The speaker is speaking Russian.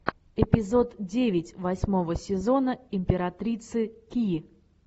эпизод девять восьмого сезона императрицы ки